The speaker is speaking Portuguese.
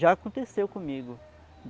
Já aconteceu comigo.